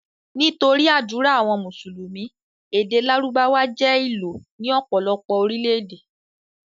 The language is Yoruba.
Nítorí ádùrá àwọn mùsùlùmí, èdè lárùbáwá jẹ́ ìlò ní ọ̀pọ̀lọpọ̀ Orílẹ̀-èdè.